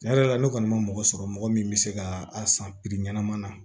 Tiɲɛ yɛrɛ la ne kɔni ma mɔgɔ sɔrɔ mɔgɔ min bɛ se ka a san piri ɲɛnama na